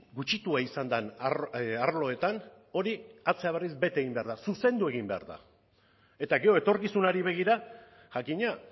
gutxitua izan den arloetan hori atzera berriz bete egin behar da zuzendu egin behar da eta gero etorkizunari begira jakina